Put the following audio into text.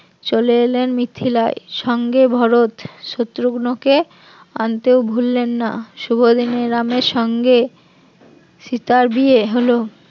চলে এলেন মিথিলায় সঙ্গে ভরত শত্রুগ্ন কে আনতেও ভুললেন না শুভদিনে রামের সঙ্গে সীতার বিয়ে হল